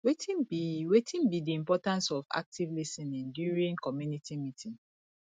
wetin be wetin be di importance of active lis ten ing during community meeting